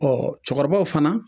Ɔ cɛkɔrɔbaw fana